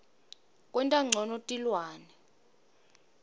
kwenta ncono tilwane